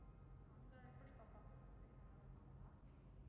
அங்க எப்படி பார்ப்பாங்க? அங்கேயும் நல்லா பார்ப்பாங்களா?